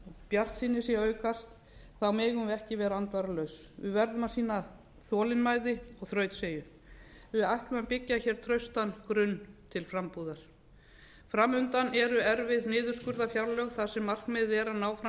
bjartsýni sé að aukast þá megum við ekki vera andvaralaus við verðum að sýna þolinmæði og þrautseigju við ætlum að byggja traustan grunn til frambúðar fram undan eru erfið niðurskurðarfjárlög þar sem markmiðið er að ná fram